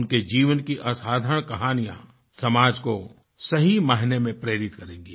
उनके जीवन की असाधारण कहानियाँ समाज को सही मायने में प्रेरित करेंगी